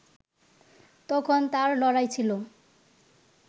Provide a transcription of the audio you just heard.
তখন তার লড়াই ছিল